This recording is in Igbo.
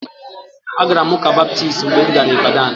Agara m ụ́kà Baptist mgbe m gara Ịbadan